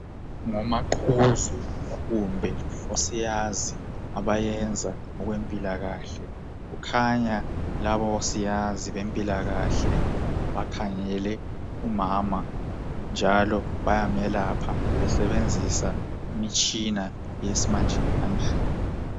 Ngomaqhuzu kumbe osiyazi abayenza okwe mpilakahle. Kukhanya labo siyazi bempilakahle bakhangele umama njalo bayamelapha besebenzisa imitshina yesimanjemanje